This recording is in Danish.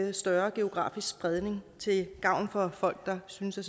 en større geografisk spredning til gavn for folk der synes at